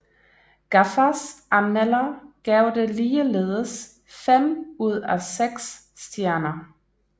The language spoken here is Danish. Gaffas anmelder gav det ligeledes fem ud af seks stjerner